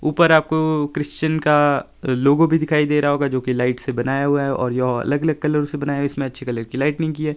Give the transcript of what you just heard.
ऊपर आपको क्रिश्चियन का लोगो भी दिखाई दे रहा होगा जो की लाइट से बनाया हुआ है और ये अलग-अलग कलर से बनाया और इसमें अच्छी कलर की लाइट लगी हुई है।